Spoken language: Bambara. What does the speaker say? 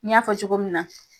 N y'a fɔ cogo min na